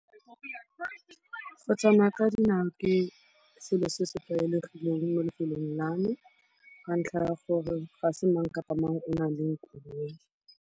Go tsamaya ka dinao ke selo se se tlwaelegileng mo lefelong la me ka ntlha ya gore ga se mang kapa mang o nang le koloi.